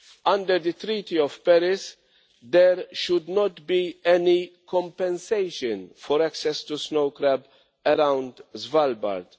Under the Treaty of Paris, there should not be any compensation for access to snow crab around Svalbard.